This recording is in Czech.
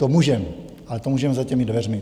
To můžeme, ale to můžeme za těmi dveřmi.